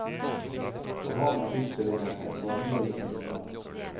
For ham er utstillingen en vandring i minner.